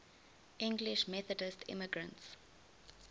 english methodist immigrants